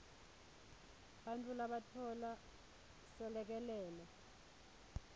bantfu labatfola selekelelo